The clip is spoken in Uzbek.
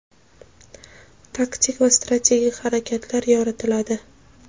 taktik va strategik harakatlar yoritiladi.